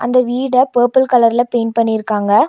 இந்த வீட பர்பிள் கலர்ல பெயிண்ட் பண்ணி இருக்காங்க.